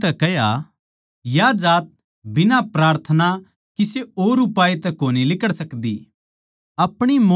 उसनै उनतै कह्या या जात बिना प्रार्थना किसे और उपाय तै कोनी लिकड़ सकदी